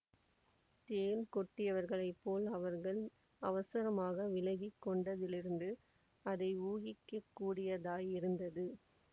தேள் கொட்டியவர்களைப் போல் அவர்கள் அவசரமாக விலகி கொண்டதிலிருந்து இதை ஊகிக்கக்கூடியதாயிருந்தது